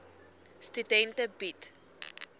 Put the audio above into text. studente bied